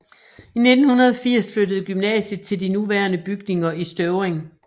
I 1980 flyttede gymnasiet til de nuværende bygninger i Støvring